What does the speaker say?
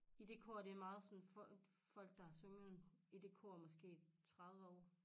I det kor det er meget sådan folk der har sunget i det kor måske 30 år